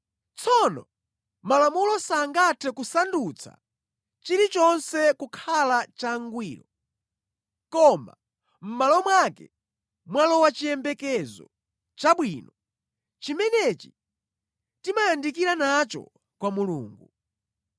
Tsono Malamulo sangathe kusandutsa chilichonse kukhala changwiro, koma mʼmalo mwake mwalowa chiyembekezo chabwino, chimenechi timayandikira nacho kwa Mulungu.